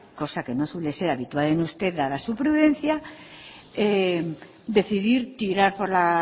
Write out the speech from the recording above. cosa que no suele ser habitual es usted dada su prudencia decidir tirar por la